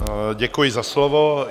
Děkuji za slovo.